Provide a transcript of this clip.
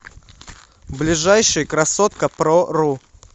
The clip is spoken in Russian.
ближайший красоткапрору